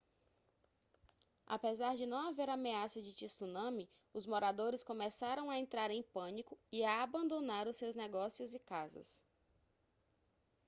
apesar de não haver ameaça de tsunami os moradores começaram a entrar em pânico e a abandonar os seus negócios e casas